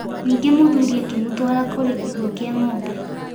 Ningĩ mũthuri akĩmũtwara kũrĩ kiugũ kĩa ng'ombe.